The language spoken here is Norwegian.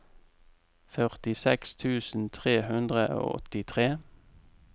førtiseks tusen tre hundre og åttitre